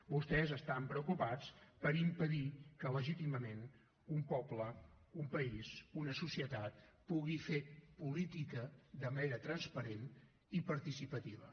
vostès estran preocupats per impedir que legítimament un poble un país una societat pugui fer política de manera transparent i participativa